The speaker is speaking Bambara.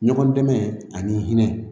Ɲɔgɔn dɛmɛ ani hinɛ